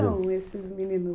são esses meninos?